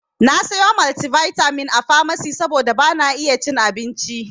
Na sayo maltivitamin a famasi saboda bana iya cin abincin.